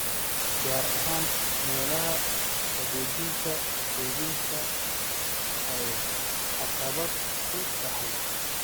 gaar ahaan meelaha qaboojinta kaydinta ay caqabad ku tahay.